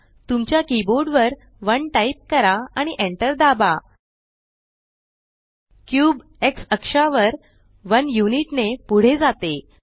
तुमच्या कीबोर्ड वर 1 टाइप करा आणि एंटर दाबा क्यूब एक्स अक्षावर 1 युनिट ने पुढे जाते